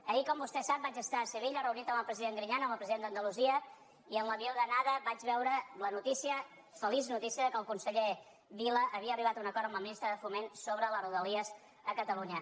ahir com vostè sap vaig estar a sevilla reunit amb el presi·dent griñán el president d’andalusia i en l’avió d’ana·da vaig veure la notícia feliç notícia que el conseller vila havia arribat a un acord amb la ministra de fo·ment sobre rodalies a catalunya